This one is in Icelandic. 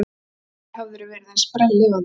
Aldrei hafðirðu verið eins sprelllifandi.